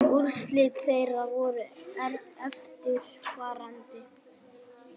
Úrslit þeirra voru eftirfarandi